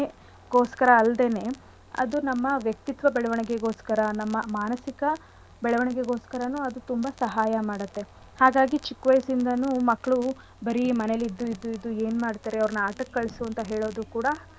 ಕ್ರೀಡೆ ಬರೀ ಮನರಂಜನೆ ಗೋಸ್ಕರ ಅಲ್ದಲೆನೇ ಅದು ನಮ್ಮ ವ್ಯಕ್ತಿತ್ವ ಬೆಳವಣಿಗೆಗೋಸ್ಕರಾ ನಮ್ಮ ಮಾನಸಿಕ ಬೆಳವಣಿಗೆಗೋಸ್ಕರನೂ ಅದು ತುಂಬಾ ಸಹಾಯ ಮಾಡತ್ತೆ ಹಾಗಾಗಿ ಚಿಕ್ಕ ವ್ಯಯಸ್ಸಿಂದನೂ ಮಕ್ಳು ಬರೀ ಮನೆಲಿ ಇದ್ದು ಇದ್ದು ಇದ್ದು ಎನ್ಮಾದ್ತಾರೆ ಅವ್ರನ ಆಟಕ್ಕೆ ಕಳ್ಸು ಅಂತ ಹೇಳದೂ ಕೂಡ.